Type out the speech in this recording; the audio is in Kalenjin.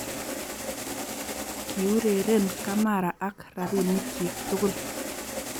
Kiureren kamara ak rabinikyik tugul